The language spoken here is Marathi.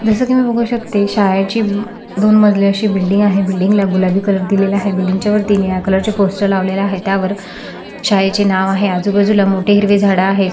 जस की मी बघू शकते शाळेची दोन मजली अशी बिल्डिंग आहे बिल्डिंग ला गुलाबी कलर दिलेला आहे बिल्डिंग च्या वरती निळ्या कलर चे पोस्टर लावलेले आहेत्यावर शाळेचे नाव आहे आजूबाजूला मोठे हिरवे झाड आहे.